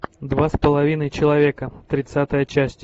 два с половиной человека тридцатая часть